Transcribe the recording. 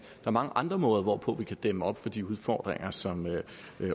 er mange andre måder hvorpå vi kan dæmme op for de udfordringer som